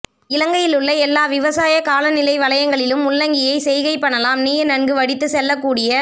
இலங்கையிலுள்ள எல்லா விவசாயக் காலநிலை வலயங்களிலும் முள்ளங்கியைச் செய்கை பண்ணலாம் நீர் நன்கு வடித்து செல்லக் கூடிய